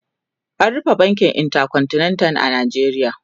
an rufe bankin intercontinental a Najeriya